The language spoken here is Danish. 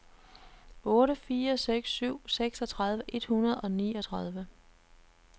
otte fire seks syv seksogtredive et hundrede og niogtredive